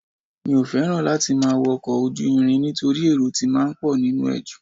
Mi ò fẹ́ràn láti máa wọ́ ọkọ̀ ojú irin nítorí èrò ti máa ń pọ nínú ẹ̀ ju